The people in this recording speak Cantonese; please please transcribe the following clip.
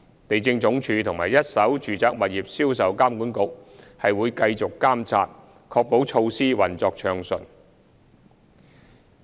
地政總署和一手住宅物業銷售監管局會繼續監察預售樓花活動，確保措施運作暢順。